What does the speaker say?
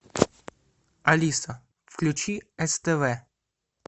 алиса включи ств